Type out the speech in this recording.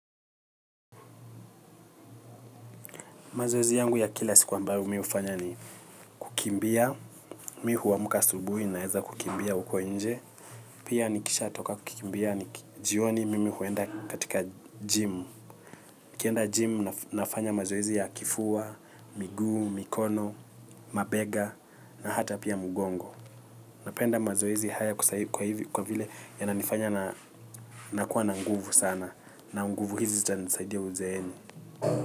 Mazoezi yangu ya kila siku ambayo mi hufanya ni kukimbia, mi huamka asubuhi na heza kukimbia huko nje. Pia nikishatoka kukimbia ni jioni mimi huenda katika gym. Kienda gym nafanya mazoezi ya kifua, miguu, mikono, mabega na hata pia mugongo. Napenda mazoezi haya kwa hivyo yanifanya na nakuwa na nguvu sana. Na nguvu hizi zita nisaidia uzeeni.